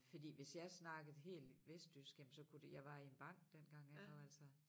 Fordi hvis jeg snakkede helt vestjysk jamen så kunne det jeg var i en bank dengang ik og altså